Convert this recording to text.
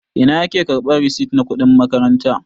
Ina ake karɓan risit na kuɗin makaranta?